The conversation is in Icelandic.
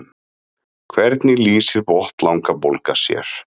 hvernig lýsir botnlangabólga sér